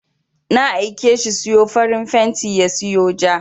Na aike shi siyo farin fenti ya siyo ja.